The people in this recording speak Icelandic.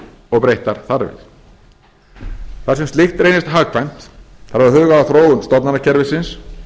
og breyttar þarfir þar sem slíkt reynist hagkvæmt þarf að huga að þróun stofnanakerfisins